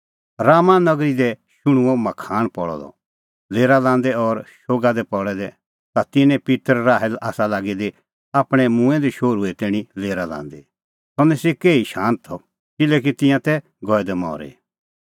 रामाह नगरी दी शुण्हुंअ मखाण पल़अ द लेरा लांदै और शोगा दी पल़ै दै ता तिन्नें पित्तर राहेल आसा लागी दी आपणैं मूंऐं दै शोहरूए तैणीं लेरा लांदी सह निस्सी केही शांत किल्हैकि तिंयां तै गऐ दै मरी